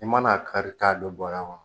I mana a kari a don bɔrɛ kɔnɔ